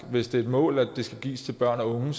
hvis det er et mål at de skal gives til børn og unge